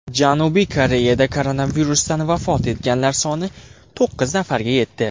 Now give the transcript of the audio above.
Janubiy Koreyada koronavirusdan vafot etganlar soni to‘qqiz nafarga yetdi.